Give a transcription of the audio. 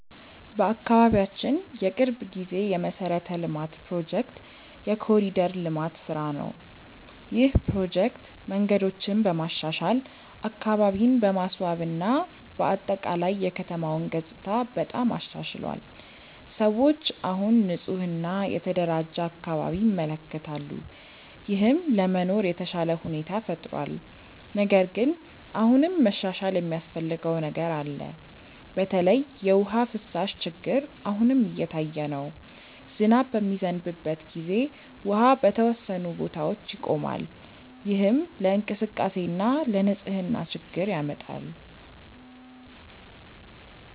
በአካባቢያችን የቅርብ ጊዜ የመሠረተ ልማት ፕሮጀክት የ“ኮሪደር ልማት” ስራ ነው። ይህ ፕሮጀክት መንገዶችን በማሻሻል፣ አካባቢን በማስዋብ እና በአጠቃላይ የከተማውን ገጽታ በጣም አሻሽሏል። ሰዎች አሁን ንፁህ እና የተደራጀ አካባቢ ይመለከታሉ፣ ይህም ለመኖር የተሻለ ሁኔታ ፈጥሯል። ነገር ግን አሁንም መሻሻል የሚያስፈልገው ነገር አለ። በተለይ የውሃ ፍሳሽ ችግር አሁንም እየታየ ነው። ዝናብ በሚዘንብበት ጊዜ ውሃ በተወሰኑ ቦታዎች ይቆማል፣ ይህም ለእንቅስቃሴ እና ለንፅህና ችግር ያመጣል።